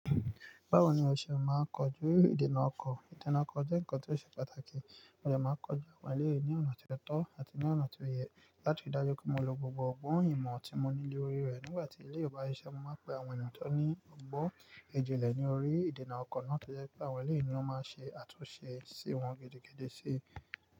Báwo ni a ṣe máa ń kọjú ìdènà ọkọ̀? Ìdènà ọkọ̀ jẹ́ ǹkan tó ṣe pàtàkì, mo sì máa ń kọjú àwọn ẹlẹ́rìí ní ọ̀nà tó tọ́ àti ní ọ̀nà tó yẹ láti rí dájú pé mo lo gbogbo ọgbọ̀n ìmọ̀ tí mo ní lórí rẹ̀. Nígbà tí eléyìí o ba ṣíṣe, mo máa ń pe àwọn ènìyàn tó ní òǹgbọ Ìjìnlẹ̀ lórí ìdènà ọkọ̀ náà tó jẹ́ pé àwọn ẹlẹ́rìí ni wọ́n máa ṣe àtúnṣe sí wọn gidigidi sí.